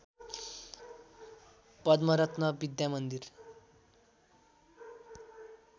Padma Ratna Vidyamandir